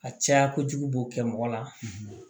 A caya kojugu b'o kɛ mɔgɔ la